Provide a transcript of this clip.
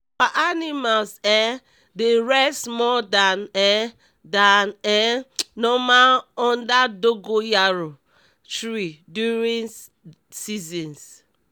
our animals um dey rest more dan um dan um normal under dogoyaro tree during seasons